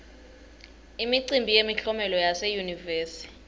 imicimbi yemiklomelo yase yunivesi